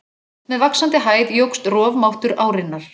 Með vaxandi hæð jókst rofmáttur árinnar.